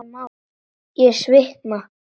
Ég svitna.